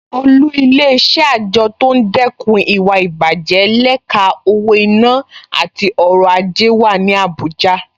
Olú Ilé-iṣẹ́ àjọ tó ń dẹ́kun ìwà ìbàjẹ́ lẹ́ka owó-ìná àti ọrọ̀ ajé wà ní Abuja